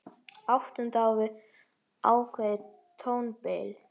Áttund á við ákveðið tónbil.